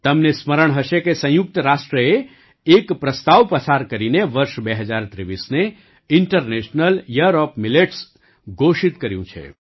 તમને સ્મરણ હશે કે સંયુક્ત રાષ્ટ્રએ એક પ્રસ્તાવ પસાર કરીને વર્ષ ૨૦૨૩ને ઇન્ટરનેશનલ યીયર ઓએફ મિલેટ્સ ઘોષિત કર્યું છે